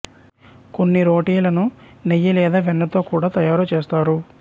కొన్ని రోటీలను నెయ్యి లేదా వెన్నతో కూడా తయారు చేస్తారు